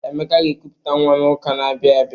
Emeka ga-ekuputa nwa n'ụka na-abịa abịa.